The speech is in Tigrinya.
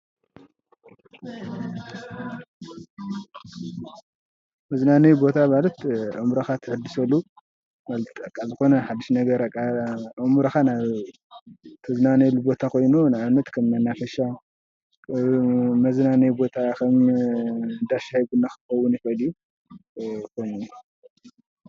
መዝናነዪ ቦታ ማለት አእምሮካ ተሐድሰሉ ማለት በቃ ዝኮነ ሓዱሽ ነገር በቃ ኣእምሮካ ናብ ትዝናንየሉ ቦታ ኮይኑ ን አብነት ከም መናፈሻ መዝናነዪ ቦታ ከም እንዳ ሻሂ ቡና ክኾን ይክ እል እዩ።